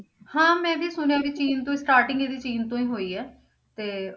ਹਾਂ ਮੈਂ ਵੀ ਸੁਣਿਆ ਕਿ ਚੀਨ ਤੋਂ starting ਇਹਦੀ ਚੀਨ ਤੋਂ ਹੀ ਹੋਈ ਹੈ ਤੇ